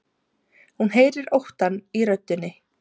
Hún heyrir óttann í röddinni.